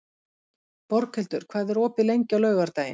Borghildur, hvað er opið lengi á laugardaginn?